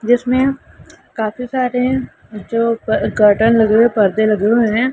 जिसमें काफ़ी सारे हैं जो कर्टन लगे हुए हैं पर्दे लगे हुए हैं।